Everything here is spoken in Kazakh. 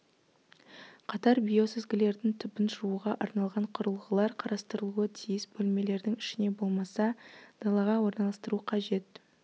қатар биосүзгілердің түбін жууға арналған құрылғылар қарастырылуы тиіс бөлмелердің ішіне болмаса далаға орналастыру қажет